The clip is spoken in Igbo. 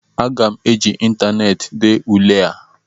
Aga m eji ịntaneetị dee ule a